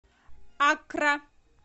аккра